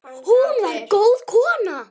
Hún var góð kona.